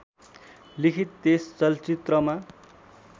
लिखित त्यस चलचित्रमा